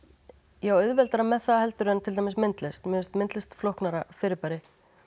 ég á auðveldara með það heldur en myndlist mér finnst myndlist flóknara fyrirbæri